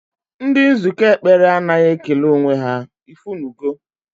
Ndị nzukọ ekpere anaghị ekele onwe ha, ifunugo